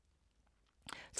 TV 2